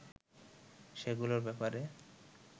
সেগুলোর ব্যাপারে